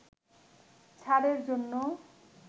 ছাড়ের জন্য